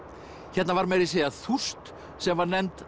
hérna var meira að segja þúst sem var nefnd